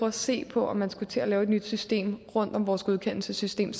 at se på om man skulle til at lave et nyt system rundt om vores godkendelsessystem